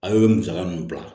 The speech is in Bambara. A ye musaka mun bila